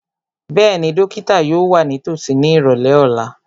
Bẹ́ẹ̀ni, dókítà yóò wà nítòsí ní ìrọ̀lẹ́ ọ̀la